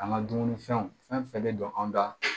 An ka dumunifɛnw fɛn fɛn bɛ don anw da